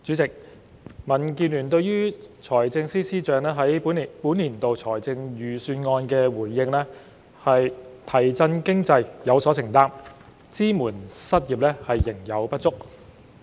主席，民建聯對於財政司司長在本年度財政預算案的回應是"提振經濟，有所承擔，支援失業，仍有不足"。